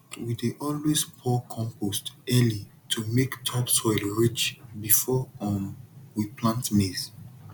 we dey always pour compost early to make topsoil rich before um we plant maize